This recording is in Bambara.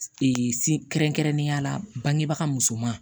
kɛrɛnkɛrɛnnenya la bangebaga musoman